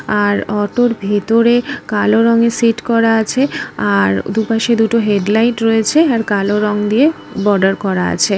আর অটোর ভেতরে কালো রংয়ের সেট করা আছে আ-র- দুপাশে দুটো হেডলাইট রয়েছে আর কালো রং দিয়ে বর্ডার করা আছে।